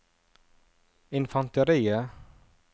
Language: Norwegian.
infanteriet